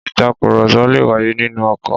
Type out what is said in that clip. Ìtakùrọ̀sọ le wáyé nínú ọkọ̀.